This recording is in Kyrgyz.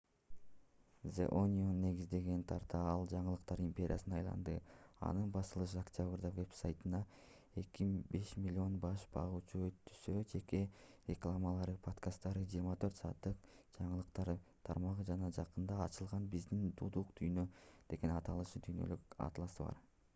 the onion негизделгенден тарта ал жаңылыктар империясына айланды анын басылышы октябрда вебсайтына 5 000 000 баш багуучунун өтүүсү жеке рекламалары подкасттары 24 сааттык жаңылыктар тармагы жана жакында ачылган биздин дудук дүйнө деген аталыштагы дүйнөлүк атласы бар